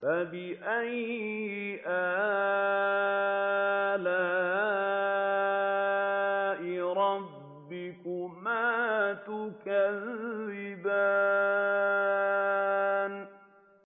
فَبِأَيِّ آلَاءِ رَبِّكُمَا تُكَذِّبَانِ